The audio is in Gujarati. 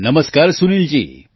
નમસ્કાર સુનિલજી